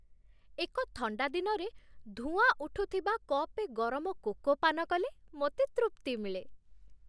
ଏକ ଥଣ୍ଡା ଦିନରେ ଧୂଆଁ ଉଠୁଥିବା କପେ ଗରମ କୋକୋ ପାନ କଲେ ମୋତେ ତୃପ୍ତି ମିଳେ।